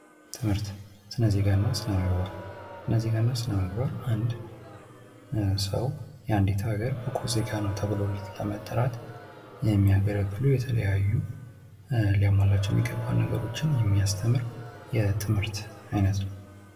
ትምህርት ስነዜጋ እና ስነምግባር ስነዜጋ እና ስነምግባር አንድ ሰው ኡአንዲት ሀገር ብቁ ዜጋ ነው ተብሎ ለመጠራት የሚያገለግሉ የተለያዩ ሊያሟላቸው የሚገባቸውን ነገሮች የሚያስተምር የትምህርት አይነት ነው::